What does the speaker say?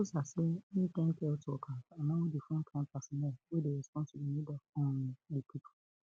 ramaphosa say im thank health workers and all di frontline personnel wey dey respond to di need um of di pipo